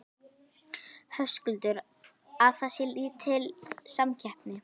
Höskuldur: Að það sé lítil samkeppni?